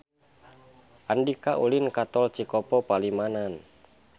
Andika ulin ka Tol Cikopo Palimanan